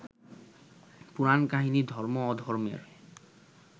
পুরাণকাহিনী ধর্ম-অধর্মের